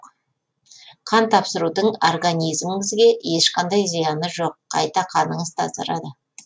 қан тапсырудың организміңізге ешқандай зияны жоқ қайта қаныңыз тазарады